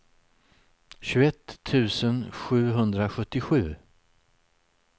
tjugoett tusen sjuhundrasjuttiosju